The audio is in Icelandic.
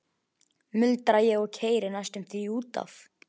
muldra ég og keyri næstum því út af.